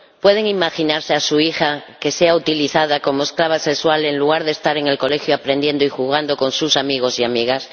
¿pueden imaginarse que su hija sea utilizada como esclava sexual en lugar de estar en el colegio aprendiendo y jugando con sus amigos y amigas?